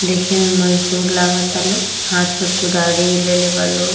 देखे में मज़दूर लगता लोग हाथ में कुदारी लेले बा लो --